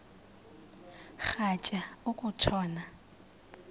rhatya uku tshona